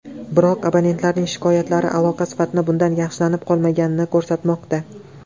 Biroq, abonentlarning shikoyatlari aloqa sifatining bundan yaxshilanib qolmaganini ko‘rsatmoqda.